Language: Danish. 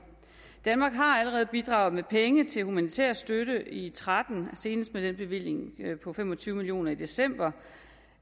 danmark har allerede bidraget med penge til humanitær støtte i tretten senest med den bevilling på fem og tyve million kroner i december